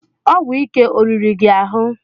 Ọgwụ ike oriri gị ahụ?